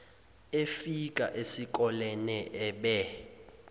efika esikolene ebe